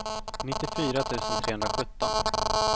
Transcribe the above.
nittiofyra tusen trehundrasjutton